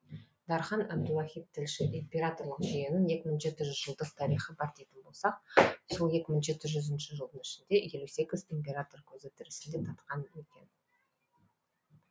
дархан әбдуахит тілші императорлық жүйенің екі мың жеті жүз жылдық тарихы бар дейтін болсақ сол екі мың жеті жүз жылының ішінде елу сегіз император көзі тірісінде татқан екен